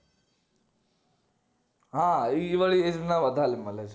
હા ઈ વાળી age ના વધારે મલે છે